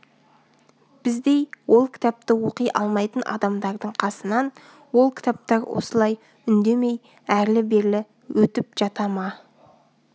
біздей ол кітапты оқи алмайтын адамдардың қасынан ол кітаптар осылай үндемей әрлі-берлі өтіп жата ма